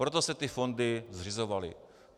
Proto se ty fondy zřizovaly.